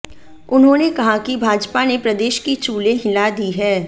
उन्होंने कहा कि भाजपा ने प्रदेश की चूलें हिला दी हैं